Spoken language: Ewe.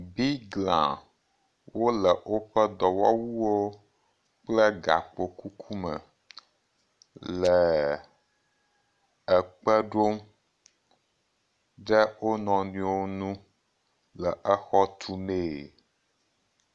Bigla, wole woƒe dɔwɔwuwo kple gakpo kuku me leeee ekpe ɖom ɖe wo nɔewo nu le exɔ tu mee.